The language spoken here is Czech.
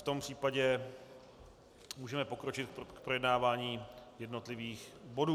V tom případě můžeme pokročit k projednávání jednotlivých bodů.